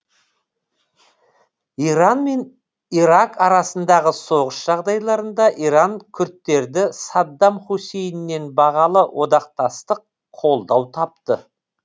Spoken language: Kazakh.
иран мен ирак арасындағы соғыс жағдайларында иран күрдтері саддам хусейннен бағалы одақтастық қолдау тапты